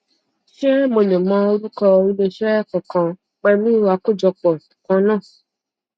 ṣé mo lè mọ orúkọ ilé iṣẹ kankan pẹlú àkójọpọ kan náà